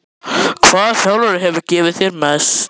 Hvaða þjálfari hefur gefið þér mest?